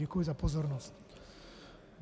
Děkuji za pozornost.